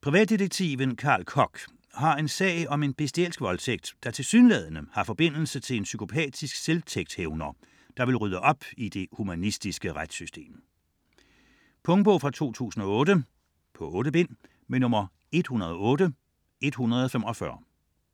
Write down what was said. Privatdetektiven Carl Kock har en sag om en bestialsk voldtægt, der tilsyneladende har forbindelse til en psykopatisk selvtægtshævner, der vil rydde op i det humanistiske retssystem. Punktbog 108145 2008. 8 bind.